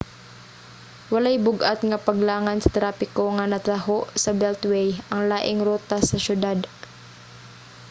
walay bug-at nga paglangan sa trapiko nga nataho sa beltway ang laing rota sa siyudad